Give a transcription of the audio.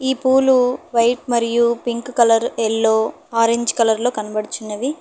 ఈ పూలు వైట్ మరియు pink colour yellow orange colour లో కనబడుచున్నవి.